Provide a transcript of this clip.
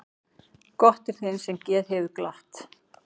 Gott er þeim sem geð hefur glatt.